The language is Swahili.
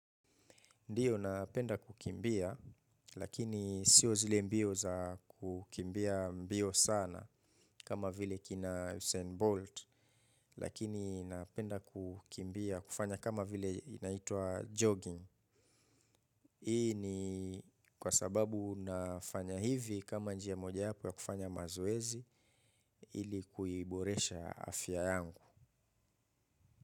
Ndiyo napenda kukimbia lakini siyo zile mbio za kukimbia mbio sana kama vile usein bolt. Hii ni kwa sababu nafanya hivi kama njia moja yapo ya kufanya mazoezi ili kuiboresha afya yangu.